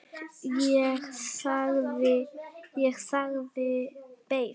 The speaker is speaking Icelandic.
Ég þagði, beið.